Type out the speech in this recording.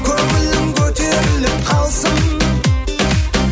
көңілің көтеріліп қалсын